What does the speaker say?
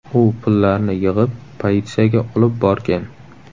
U pullarni yig‘ib, politsiyaga olib borgan.